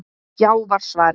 Já var svarið.